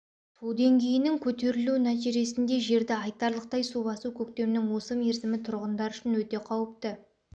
су деңгейінің көтерілуі нәтижесінде жерді айтарлықтай су басу көктемнің осы мерзімі тұрғындар үшін өте қауіпті